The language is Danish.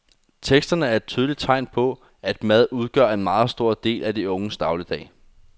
Teksterne er et tydeligt tegn på, at mad udgør en meget stor del af de unges dagligdag.